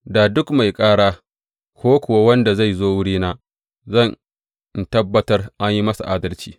Da duk mai ƙara, ko kuka wanda zai zo wurina, zan in tabbatar an yi masa adalci.